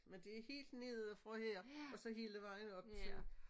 Men det helt nede fra her og så hele vejen op til